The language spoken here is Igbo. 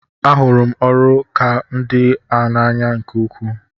A hụrụ m ọrụ ka ndị a n'anya nke ukwuu.